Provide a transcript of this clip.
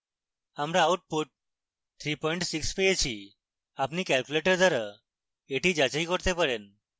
আমরা output 36 পেয়েছি আপনি ক্যালকুলেটর দ্বারা এটি যাচাই করতে পারেন